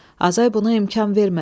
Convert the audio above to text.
Azay buna imkan vermədi.